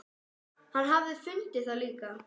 Hann hafi fundið það líka.